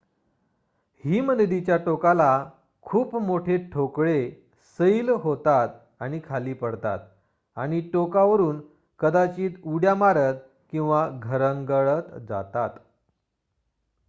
हिमनदीच्या टोकाला खूप मोठे ठोकळे सैल होतात खाली पडतात आणि टोकावरून कदाचित उड्या मारत किंवा घरंगळत जातात